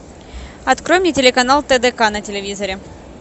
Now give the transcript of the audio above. открой мне телеканал тдк на телевизоре